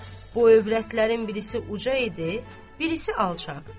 Bu övrətlərin birisi uzunca idi, birisi alçaq.